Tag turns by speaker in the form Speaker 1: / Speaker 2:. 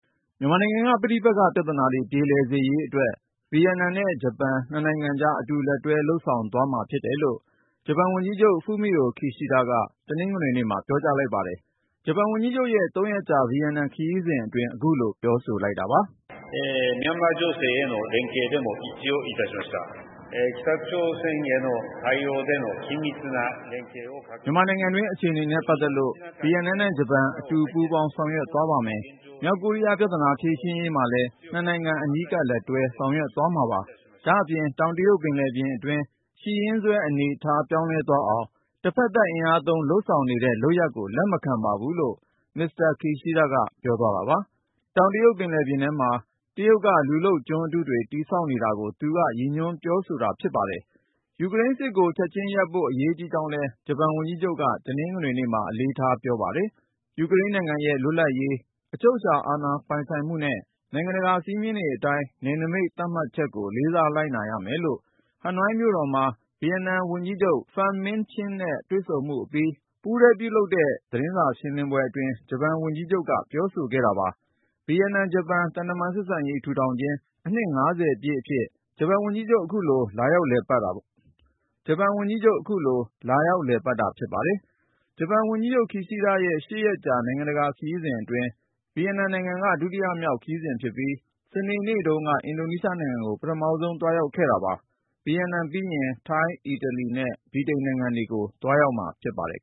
Speaker 1: မြန်မာနိုင်ငံက ပဋိပက္ခ ပြဿနာတွေ ပြေလည်စေရေးအတွက် ဗီယက်နမ်နဲ့ ဂျပန် နှစ်နိုင်ငံကြား အတူလက်တွဲ လုပ်ဆောင်သွားမှာ ဖြစ်တယ်လို့ ဂျပန်ဝန်ကြီးချုပ် Fumio Kishida က တနင်္ဂနွေနေ့မှာ ပြောကြားလိုက်ပါတယ်။ ဂျပန်ဝန်ကြီးချုပ်ရဲ့ ၃ ရက်ကြာ ဗီယက်နမ်ခရီးစဉ်အတွင်း အခုလို ပြောဆိုလိုက်တာပါ
Speaker 2: ။ "မြန်မာနို
Speaker 1: င်ငံတွင်း အခြေအနေနဲ့ ပတ်သက်လို့ ဗီယက်နမ်နဲ့ဂျပန် အတူပူးပေါင်း ဆောင်ရွက်သွားပါမယ်။ မြောက်ကိုရီးယားပြဿနာ ဖြေရှင်းရေးမှာလည်း နှစ်နိုင်ငံ အနီးကပ် လက်တွဲ ဆောင်ရွက်သွားမှာပါ။ ဒါ့အပြင် တောင်တရုတ်ပင်လယ်ပြင်အတွင်း ရှိရင်းစွဲအနေအထား ပြောင်းလဲသွားအောင် တဖက်သတ် အင်အားသုံး လုပ်ဆောင်နေတဲ့ လုပ်ရပ်ကို လက်မခံပါဘူး။" လို့ Mr. Kishida က ပြောသွားတာပါ။ တောင်တရုတ်ပင်လယ်ပြင်ထဲမှာ တရုတ်က လူလုပ်ကျွန်းအတုတွေ တည်ဆောက်နေတာကို သူက ရည်ညွှန်း ပြောဆိုခဲ့ပါတယ်။ ယူကရိန်းစစ်ပွဲကို ချက်ချင်းရပ်စဲဖို့ အရေးကြီးကြောင်းလည်း ဂျပန်ဝန်ကြီးချုပ်က တနင်္ဂနွေနေ့မှာ အလေးထား ပြောဆိုပါတယ်။ ယူကရိန်းနိုင်ငံရဲ့ လွတ်လပ်ရေး၊ အချုပ်အခြာအာဏာ ပိုင်ဆိုင်မှုနဲ့ နိုင်ငံတကာ စည်းမျည်းတွေအတိုင်း နယ်နိမိတ် သတ်မှတ်ချက်ကို လေးစားလိုက်နာရမယ်လို့ ဟနွိုင်းမြို့တော်မှာ ဗီယက်နမ်ဝန်ကြီးချုပ် Pham Minh Chinh နဲ့ တွေ့ဆုံမှုအပြီး ပူးတွဲပြုလုပ်တဲ့ သတင်းစာရှင်းလင်းပွဲအတွင်း ဂျပန်ဝန်ကြီးချုပ် Kishida က ပြောဆိုခဲ့တာပါ။ ဗီယက်နမ်-ဂျပန် သံတမန်ဆက်ဆံရေး ထူထောင်ခြင်း အနှစ် ၅၀ ပြည့်နှစ်အဖြစ် ဂျပန်ဝန်ကြီးချုပ် အခုလို လာရောက်လည်ပတ်တာပါ။ ဂျပန်နိုင်ငံဟာ ဗီယက်နမ်ကို အများဆုံး ကူညီထောက်ပံ့နေတဲ့ နိုင်ငံလည်း ဖြစ်ပါတယ်။ ဂျပန်ဝန်ကြီးချုပ် Kishida ရဲ့ ၈ ရက်ကြာ နိုင်ငံတကာ ခရီးစဉ်အတွင်း ဗီယက်နမ်က ဒုတိယမြောက် ခရီးစဉ်ဖြစ်ပြီး စနေနေ့တုန်းက အင်ဒိုနီးရှားနိုင်ငံကို ပထမဆုံး သွားရောက်ခဲ့တာပါ။ ဗီယက်နမ်ပြီးရင် ထိုင်း၊ အီတလီနဲ့ ဗြိတိန်နိုင်ငံတွေကို သွားရောက်မှာ ဖြစ်ပါတယ်